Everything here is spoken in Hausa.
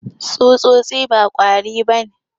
Tsutsotsi ba kwari ba ne.